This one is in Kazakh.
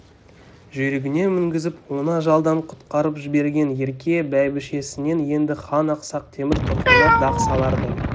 жүйрігіне мінгізіп оны ажалдан құтқарып жіберген ерке бәйбішесінен енді хан ақсақ темір тұқымына дақ салардай